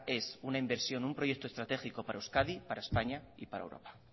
es una inversión un proyecto estratégico para euskadi para españa y para europa